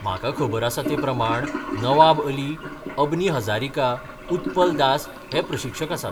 म्हाका खबर आसा ते प्रमाण नवाब अली, अबनी हजारिका, उत्पल दास हे प्रशिक्षक आसात.